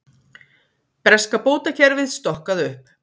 Breska bótakerfið stokkað upp